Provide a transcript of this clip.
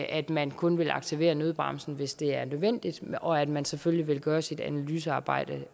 at man kun vil aktivere nødbremsen hvis det er nødvendigt og at man selvfølgelig vil gøre sit analysearbejde